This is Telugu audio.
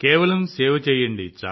కేవలం సేవ చేయండి